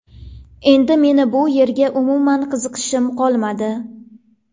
Endi meni bu yerga umuman qiziqishim qolmadi.